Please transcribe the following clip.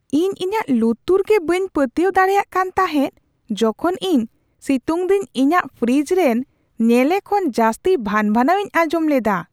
ᱤᱧ ᱤᱧᱟᱹᱜ ᱞᱩᱛᱩᱨᱜᱮ ᱵᱟᱹᱧ ᱯᱟᱹᱛᱭᱟᱹᱣ ᱫᱟᱲᱮᱭᱟᱜ ᱠᱟᱱ ᱛᱟᱦᱮᱸᱫ ᱡᱚᱠᱷᱚᱱ ᱤᱧ ᱥᱤᱛᱩᱝ ᱫᱤᱱ ᱤᱧᱟᱹᱜ ᱯᱷᱨᱤᱡᱽ ᱨᱮᱱ ᱧᱮᱞᱮ ᱠᱷᱚᱱ ᱡᱟᱹᱥᱛᱤ ᱵᱷᱟᱱᱼᱵᱷᱟᱱᱟᱣ ᱤᱧ ᱟᱸᱡᱚᱢ ᱞᱮᱫᱟ ᱾